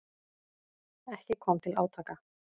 Ekki kom til átaka.